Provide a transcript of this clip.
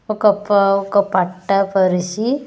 ఒక పా-- ఒక పట్ట పరిశి.